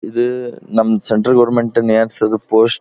ಇದು ನಮ್ಮ central government ನೇ ಹಾಕ್ಸಿರೋದು ಪೋಸ್ಟ್ --